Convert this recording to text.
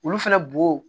Olu fɛnɛ bo